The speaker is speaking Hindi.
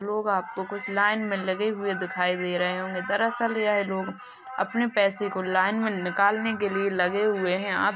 लोग आपको कुछ लाइन में लगे हुए दिखाई दे रहे होंगे दरअसल् यह लोग अपने पैसे को लाइन में निकालने के लिए लगे हुए हैं --